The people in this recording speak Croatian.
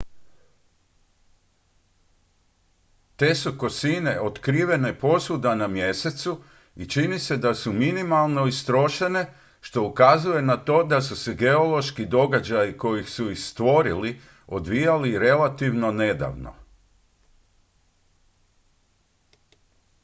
te su kosine otkrivene posvuda na mjesecu i čini se da su minimalno istrošene što ukazuje na to da su se geološki događaji koji su ih stvorili odvijali relativno nedavno